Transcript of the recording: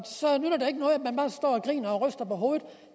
griner og ryster på hovedet